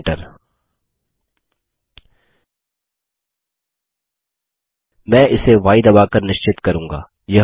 Enter मैं इसे य दबा कर निश्चित करूँगा